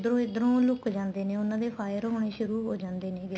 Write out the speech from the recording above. ਇੱਧਰੋ ਲੁੱਕ ਜਾਂਦੇ ਨੇ ਉਹਨਾ ਦੇ fire ਹੋਣੀ ਸ਼ੁਰੂ ਹੋ ਜਾਂਦੇ ਨੈਗੇ